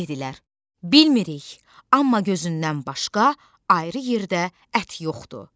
Dedilər: Bilmirik, amma gözündən başqa ayrı yerdə ət yoxdur.